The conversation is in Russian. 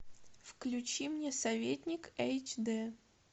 включи мне советник эйч дэ